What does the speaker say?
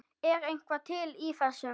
Er eitthvað til í þessu?